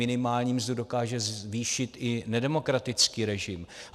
Minimální mzdu dokáže zvýšit i nedemokratický režim.